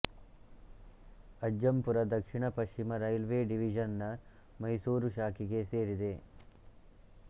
ಅಜ್ಜಂಪುರ ದಕ್ಷಿಣ ಪಶ್ಚಿಮ railway division ನ ಮೈಸೂರ್ ಶಾಖೆಗೆ ಸೇರಿದೆ